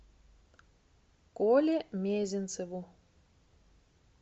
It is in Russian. коле мезенцеву